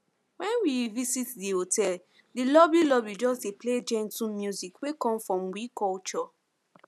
when we visit di hotel di lobby lobby just dey play gentle music wey come from we culture